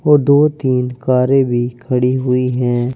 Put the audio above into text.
और दो तीन कारें भी खड़ी हुई हैं।